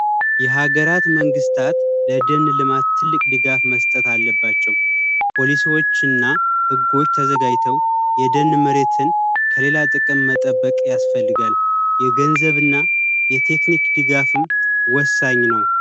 የሀገራት መንግስታት ለድል ልማት ትልቅ ድጋፍ መስጠት አለባቸው ፖሊሶችና ህጎች ተዘጋጅተው የደን መሬትን ከሌላ ጥቅም መጠበቅ ያስፈልጋል የገንዘብና የቴክኒክ ድጋፍም ወሳኝ ነው